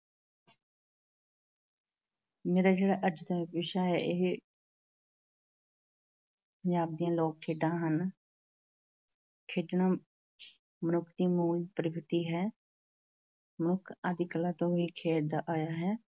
ਮੇਰਾ ਜਿਹੜਾ ਅੱਜ ਦਾ ਵਿਸ਼ਾ ਹੈ ਇਹ ਪੰਜਾਬ ਦੀਆਂ ਲੋਕ ਖੇਡਾਂ ਹਨ। ਖੇਡਣਾ ਮਨੁੱਖ ਦੀ ਮੂ਼ਲ ਪ੍ਰਾਕ੍ਰਤੀ ਹੈ, ਮਨੁੱਖ ਆਦਿ ਕਾਲ ਤੋਂ ਹੀ ਖੇਡਦਾ ਆਇਆ ਹੈ।